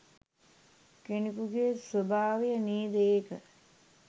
කෙනෙකුගේ ස්වභාවය නේද ඒක?